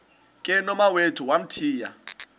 ke nomawethu wamthiya